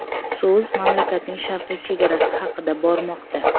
So‘z mamlakatning sharqiy chegarasi haqida bormoqda.